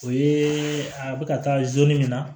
O ye a bɛ ka taa min na